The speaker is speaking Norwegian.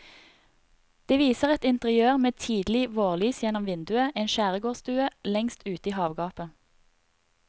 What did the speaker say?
Det viser et interiør med tidlig vårlys gjennom vinduet, en skjærgårdsstue lengst ute i havgapet.